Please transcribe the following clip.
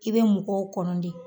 I bE mɔgɔw Kɔnɔ de